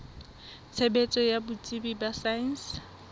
tshebetso ya botsebi ba saense